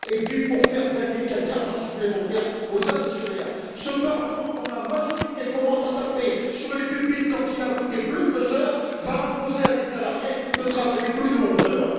Puis, pour faire gagner quelque argent supplémentaire aux actionnaires, ce Parlement, dont la majorité commence à taper sur les pupitres quand il a voté plus de deux heures, va imposer à des salariés de travailler plus de onze heures!